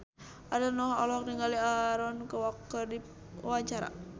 Ariel Noah olohok ningali Aaron Kwok keur diwawancara